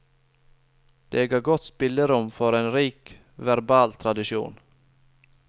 Det ga godt spillerom for en rik verbal tradisjon.